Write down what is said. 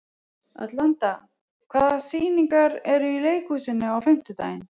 Atlanta, hvaða sýningar eru í leikhúsinu á fimmtudaginn?